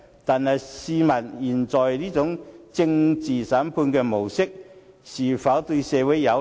但是，試問他們現在這種政治審判的模式，又是否對社會有利？